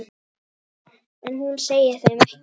En hún segir þeim ekkert.